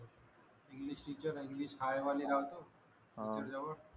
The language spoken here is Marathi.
इंग्लिश आहे इंग्लिश वाले लावतो टीचर जवळ